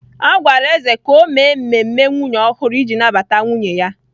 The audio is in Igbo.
A gwara Eze ka o mee mmemme nwunye ọhụrụ iji nabata nwunye ya